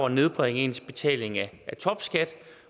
at nedbringe ens betaling af topskat